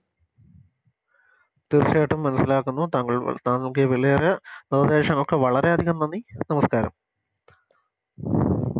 തീർച്ചയായിട്ടും മനസിലാക്കുന്നു താങ്കൾ താങ്കൾക്ക് ഈ വിലയേറിയ നിർദേശങ്ങൾക്കൊക്കെ വളരെയധികം നന്ദി നമസ്ക്കാരം